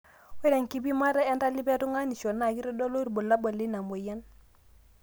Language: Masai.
ore enkipimata entalipa te tunganisho naa keitadolu irbulabul leina moyian